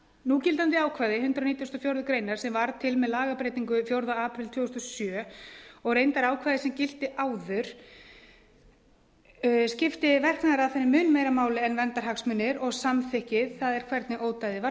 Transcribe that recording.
núgildandi ákvæði hundrað nítugasta og fjórðu grein sem varð til með lagabreytingu fjórða apríl tvö þúsund og sjö og reyndar ákvæði sem gilti áður skipti verknaðaraðferðin mun meira máli en verndarhagsmunir og samþykki það er hvernig ódæðið var